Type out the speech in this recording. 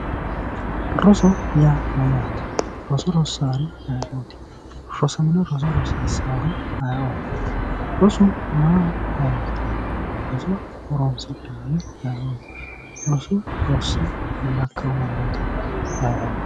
Roso yaa mayyaate? Roso rossaari ayeooti? Rosamino Roso rosiissaari ayeooti? Rosu maaho horonsi'nanni? Roso horonsi'nayiihuno ayeooti? Roso rosse fullakkeyo mannooti ayeooti?